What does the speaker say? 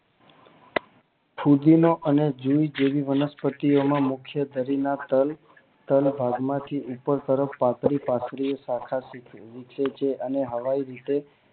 ફુદીનો અને જીની જીની વનસ્પતિ ઓ માં મુખય શરીર ના તાલ અને તાલ ભાગ માંથી ઉગે છે તાલ માંથી ઉપર તરફ પથારી પથારી અને હલ તરફ અને હાવી રીતે